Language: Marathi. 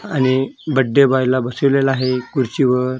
आणि बड्डे बॉय ला बसवलेलं आहे खुर्चीवर--